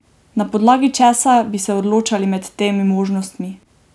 Na podlagi česa bi se odločali med temi možnostmi?